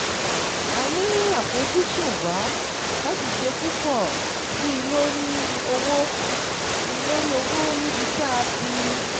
A ní àfojúsùn wa láti ṣe púpọ̀ sí i lórí òwò i lórí òwò níbi tá a ti